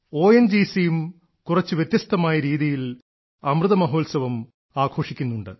O N G സിയും കുറച്ചു വ്യത്യസ്തമായ രീതിയിൽ അമൃതമഹോത്സവം ആഘോഷിക്കുന്നുണ്ട്